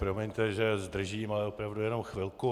Promiňte, že zdržím, ale opravdu jenom chvilku.